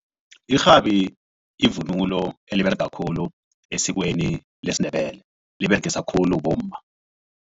Irhabi yivunulo eliberega khulu esikweni lesiNdebele liberegiswa khulu bomma.